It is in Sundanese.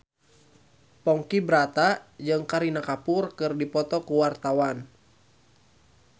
Ponky Brata jeung Kareena Kapoor keur dipoto ku wartawan